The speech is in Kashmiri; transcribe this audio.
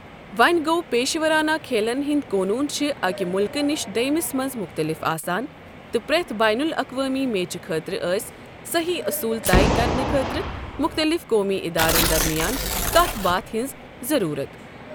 وونہِ گوٚو، پیشورانہ کھیلن ہِنٛدۍ قونوٗن چھِ اکہِ مُلکہٕ نِشہِ دۄیمِس مَنٛز مختٔلِف آسان، تہٕ پرٮ۪تھ بین الاقوٲمی میچہٕ خٲطرٕ ٲسۍ صٔحیح اوٚصوٗل طے کرنہٕ خٲطرٕ مُختٔلِف قومی ادارن درمیان کتھ باتھہِ ہِنٛز ضروٗرَت۔